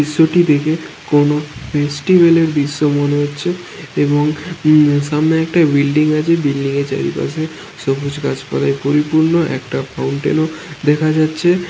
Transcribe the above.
দৃশ্যটি দেখে কোন ফেস্টিভেল -এর দৃশ্য মনে হচ্ছে এবং উম সামনে একটা বিল্ডিং আছে বিল্ডিং -এর চারিপাশে সবুজ গাছ পালাই পরিপূর্ণ। একটা ফাউন্টেন ও দেখা যাচ্ছে ।